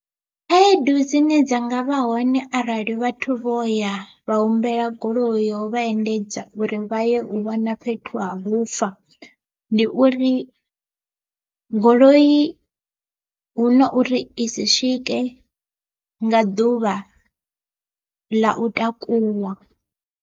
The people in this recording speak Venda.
Khaedu dzine dza nga vha hone arali vhathu vho ya vha humbela goloi yo vha endedza uri vha ye u wana fhethu ha vhufa, ndi uri goloi hu na uri i si swike nga ḓuvha ḽa u takuwa.